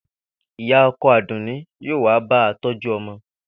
Ìyá o̩ko̩ Àdùnní yóò wá ba tó̩jú o̩mo̩